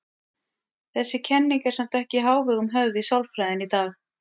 Þessi kenning er samt ekki í hávegum höfð í sálfræðinni í dag.